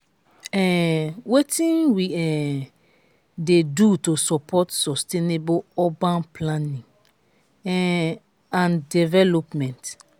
um wetin we um dey do to support sustainable urban planning um and development?